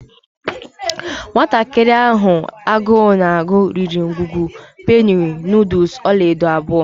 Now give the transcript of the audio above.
Nwatakịrị nwanyị ahụ agụụ na-agụ riri ngwugwu penny noodles ọla edo abụọ.